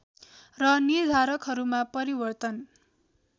र निर्धारकहरूमा परिवर्तन